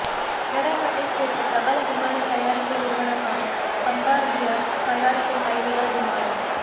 Canada நாட்டை சேர்ந்த பிரபல விமான தயாரிப்பு நிறுவனமான பம்பார்டியர் தயாரிக்கும் பயணிகள் விமானம்